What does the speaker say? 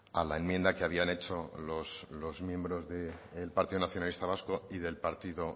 a la enmienda que habían hecho los miembros del partido nacionalista vasco y del partido